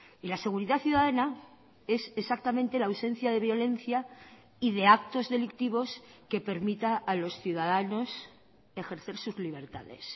y la seguridad ciudadana es exactamente la ausencia de violencia y de actos delictivos que permita a los ciudadanos ejercer sus libertades